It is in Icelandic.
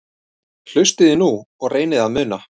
Hlustiði nú og reynið að muna